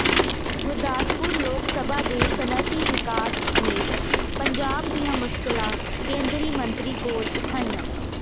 ਗੁਰਦਾਸਪੁਰ ਲੋਕ ਸਭਾ ਦੇ ਸਨਅਤੀ ਵਿਕਾਸ ਸਮੇਤ ਪੰਜਾਬ ਦੀਆਂ ਮੁਸਕਿਲਾਂ ਕੇਂਦਰੀ ਮੰਤਰੀ ਕੋਲ ਉਠਾਈਆਂ